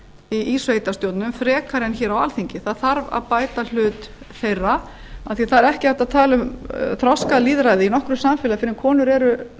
í sveitarstjórnum frekar en hér á alþingi það þarf að bæta hlut þeirra af því það er ekki hægt að tala um þroskalýðræði í nokkru samfélagi fyrr en konur eru